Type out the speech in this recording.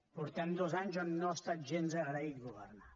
portem dos anys on no ha estat gens agraït governar